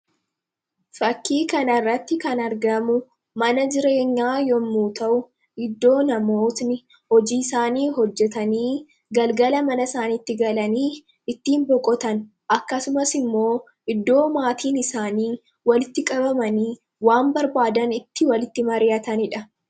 Fakkii kanarratti kan argamu mana jireenyaa yommuu ta'u, bakka namoonni hojii isaanii hojjetanii galgala mana isaaniitti galanii itti boqotan akkasumas immoo iddoo maatiin isaanii walitti qabamanii waan barbaadan itti mari'atanidha.